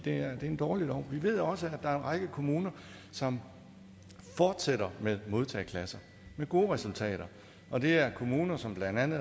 er en dårlig lov vi ved også at der er en række kommuner som fortsætter med modtageklasser med gode resultater og det er kommuner som blandt andet